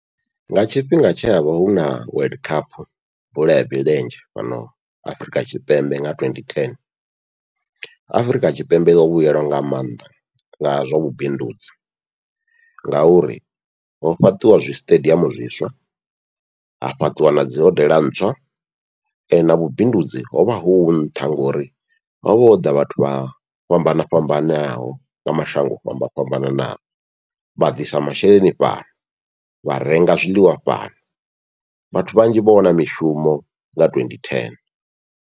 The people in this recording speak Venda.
Nga tshifhinga tshe havha huna World Cup bola ya milenzhe fhano Afurika Tshipembe nga twenty ten, Afurika Tshipembe yo vhuyelwa nga maanḓa nga zwa vhubindudzi, ngauri ho fhaṱiwa zwisiṱediamu zwiswa ha fhaṱiwa nadzi hodela ntswa na vhubindudzi hovha hu nṱha, ngori hovha hoḓa vhathu vha fhambana fhambanaho nga mashango o fhambana fhambananaho vha ḓisa masheleni fhano, vha renga zwiḽiwa fhano vhathu vhanzhi vho wana mishumo nga twenty ten.